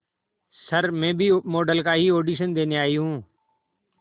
sir मैं भी model का ही ऑडिशन देने आई हूं